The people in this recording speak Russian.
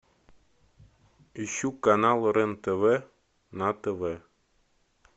ищу канал рен тв на тв